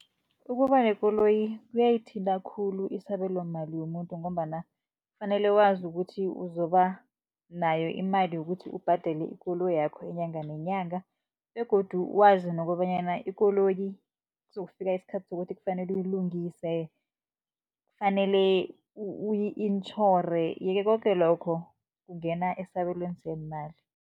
Ukuba nekoloyi kuyayithinta khulu isabelomali yomuntu ngombana kufanele wazi ukuthi uzoba nayo imali yokuthi ubhadele ikoloyakho inyanga nenyanga, begodu wazi nokobanyana ikoloyi kuzokufika isikhathi sokuthi kufanele uyilungise, kufanele uyi intjhore. Ye-ke koke lokho kungena esabelweni seemali.